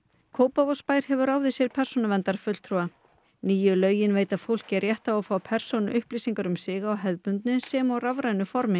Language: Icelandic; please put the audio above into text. Kópavogsbær hefur ráðið sér persónuverndarfulltrúa nýju lögin veita fólki rétt á að fá persónuupplýsingar um sig á hefðbundnu sem og rafrænu formi